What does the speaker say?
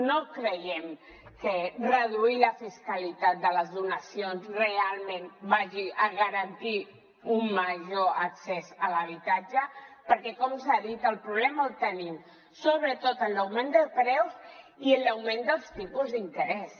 no creiem que reduir la fiscalitat de les donacions realment hagi de garantir un major accés a l’habitatge perquè com s’ha dit el problema el tenim sobretot en l’augment de preus i en l’augment dels tipus d’interès